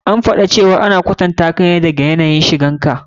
An yi faɗi cewa ana kwatantaka ne da yanayin shigar ka.